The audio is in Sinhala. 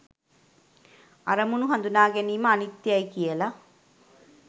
අරමුණු හඳුනාගැනීම අනිත්‍යයයි කියල